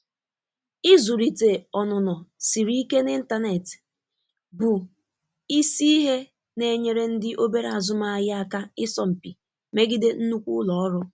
Ịzụlite ọnụnọ siri ike n'ịntanetị bụ isi ihe na-enyere ndị obere azụmahịa aka ịsọ mpi megide nnukwu ụlọ ọrụ.